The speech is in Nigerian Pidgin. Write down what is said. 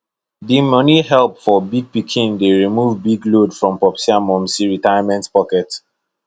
the money help from big pikin dey remove big load from popsi and momsi retirement pocket